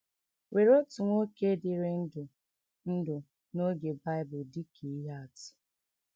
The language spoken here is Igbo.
Were otu nwoke dịrị ndụ ndụ n’oge Bible dị ka ihe atụ.